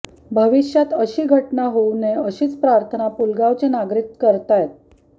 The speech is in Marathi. भविष्यात अशी घटना होवू नये अशीच प्रार्थना पूलगावचे नागरिक करतायत